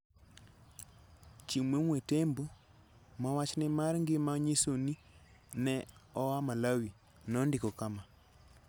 Chimwemwe Tembo, ma wachne mar ngima nyiso ni ne oa Malawi, nondiko kama: